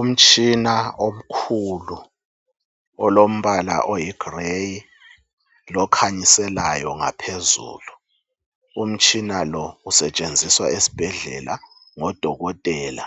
umtshina omkhulu olombala oyigrey lokhanyiselayo ngaphezulu umtshina lo usetshenziswa esibhedlela ngo dokotela